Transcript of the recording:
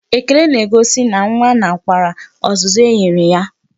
Ekele n'egosi na nwa nakwere ọzụzụ e nyere ya.